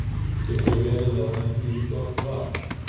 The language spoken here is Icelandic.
Getur verið að það þýði gott varp?